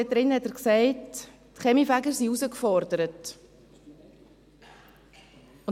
Darin hat er gesagt, dass die Kaminfeger herausgefordert seien.